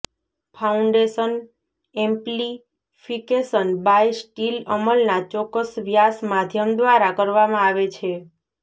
foundation amplification by steel અમલના ચોક્કસ વ્યાસ માધ્યમ દ્વારા કરવામાં આવે છે